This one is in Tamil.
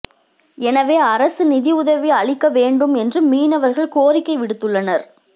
எனவே அரசு நிதி உதவி அளிக்க வேண்டும் என்றும் மீனவர்கள் கோரிக்கை விடுத்துள்ளனர்